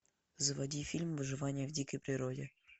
заводи фильм выживание в дикой природе